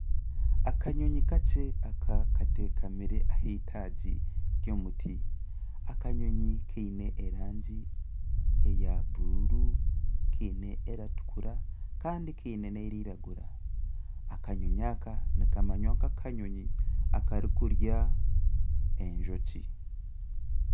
Akanyonyi kakye aka katekamire ah'itaagi ry'omuti akanyonyi kiine erangi eya buruuru kiine erikutukura kandi kiine n'erikwiragura akanyonyi aka nikamanywa nka akanyonyi akari kurya enjoki.